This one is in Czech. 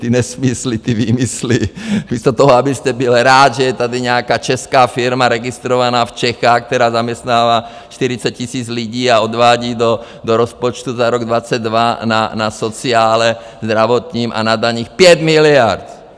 Ty nesmysly, ty výmysly, místo toho, abyste byl rád, že je tady nějaká česká firma, registrovaná v Čechách, která zaměstnává 40 tisíc lidí a odvádí do rozpočtu za rok 2022 na sociálu, zdravotním a na daních 5 miliard!